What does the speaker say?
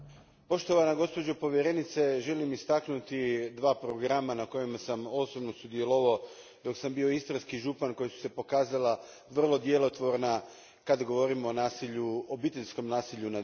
Gospođo povjerenice želim istaknuti dva programa, na kojima sam osobno sudjelovao dok sam bio istarski župan, koja su se pokazala vrlo djelotvorna kada govorimo o obiteljskom nasilju nad ženama.